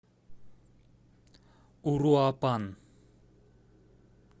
уруапан